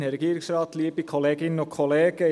Ich gebe für die SVP Raphael Lanz das Wort.